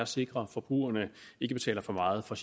sikre at forbrugerne ikke betaler for meget for